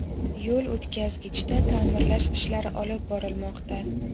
Yo‘l o‘tkazgichda ta’mirlash ishlari olib borilmoqda.